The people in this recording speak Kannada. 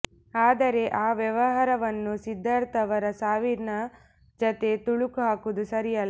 ಆದರೆ ಆ ವ್ಯವಹಾರವನ್ನು ಸಿದ್ಧಾರ್ಥ್ ಅವರ ಸಾವಿನ ಜತೆ ಥಳುಕು ಹಾಕುವುದು ಸರಿಯಲ್ಲ